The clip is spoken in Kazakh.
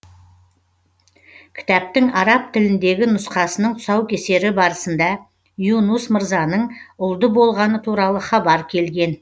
кітаптың араб тіліндегі нұсқасының тұсаукесері барысында юнус мырзаның ұлды болғаны туралы хабар келген